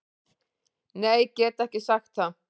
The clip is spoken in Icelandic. Nei get ekki sagt það.